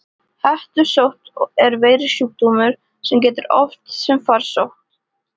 Hettusótt er veirusjúkdómur sem gengur oft sem farsótt.